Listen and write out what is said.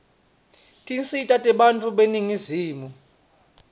tinsita tebantfu beningizimu